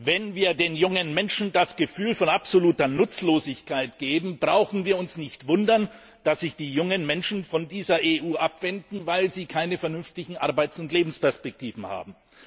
Wenn wir den jungen Menschen das Gefühl von absoluter Nutzlosigkeit geben, brauchen wir uns nicht zu wundern, dass sich die jungen Menschen von dieser EU abwenden, weil sie keine vernünftigen Arbeits und Lebensperspektiven haben.